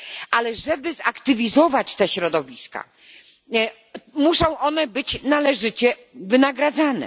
Ale żeby zaktywizować te środowiska, muszą one być należycie wynagradzane.